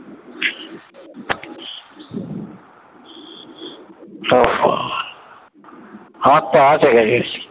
আমার তো আছে graduation